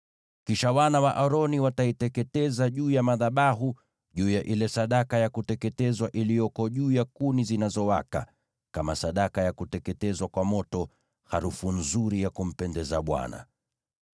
Kisha wana wa Aroni wataiteketeza juu ya madhabahu, juu ya ile sadaka ya kuteketezwa iliyoko juu ya kuni zinazowaka, kama sadaka ya kuteketezwa kwa moto, harufu nzuri ya kumpendeza Bwana .